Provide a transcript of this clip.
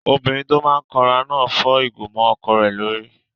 Obìnrin tó máa n kanra náà fọ́ ìgò mọ́ ọkọ rẹ̀ lórí